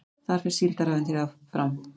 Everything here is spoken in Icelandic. Þar fer Síldarævintýrið fram